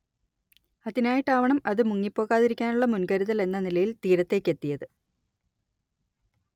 അതിനായിട്ടാവണം അത് മുങ്ങിപ്പോകാതിരിക്കാനുള്ള മുൻ‌കരുതൽ എന്ന നിലയിൽ തീരത്തേക്കെത്തിയത്